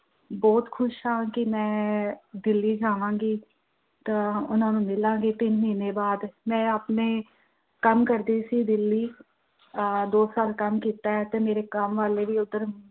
ਬਹੁਤ ਖੁਸ਼ ਹਾਂ ਕਿ ਮੈਂ ਅਹ ਦਿੱਲੀ ਜਾਵਾਂਗੀ, ਤਾਂ ਉਹਨਾਂ ਨੂੰ ਮਿਲਾਗੀ ਤਿੰਨ ਮਹੀਨੇ ਬਾਅਦ ਮੈਂ ਆਪਣੇ, ਕੰਮ ਕਰਦੀ ਸੀ ਦਿੱਲੀ ਅਹ ਦੋ ਸਾਲ ਕੰਮ ਕੀਤਾ ਤੇ ਕੰਮ ਵਾਲੇ ਵੀ ਉਧਰ